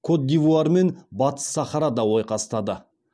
кот д ивуар мен батыс сахарада ойқастады